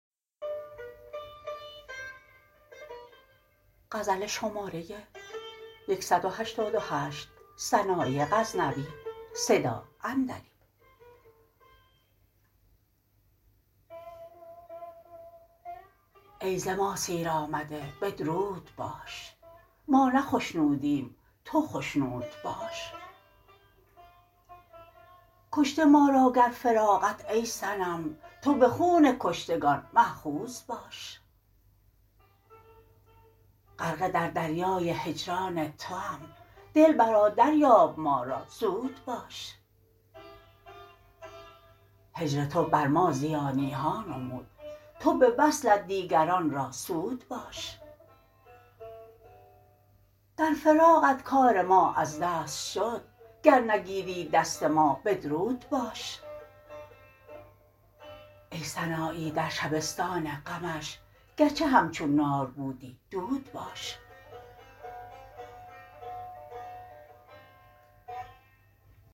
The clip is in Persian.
ای ز ما سیر آمده بدرود باش ما نه خشنودیم تو خشنود باش کشته ما را گر فراقت ای صنم تو به خون کشتگان ماخوذ باش غرقه در دریای هجران توام دلبرا دریاب ما را زود باش هجر تو بر ما زیانی ها نمود تو به وصلت دیگران را سود باش در فراقت کار ما از دست شد گر نگیری دست ما بدرود باش ای سنایی در شبستان غمش گرچه همچون نار بودی دود باش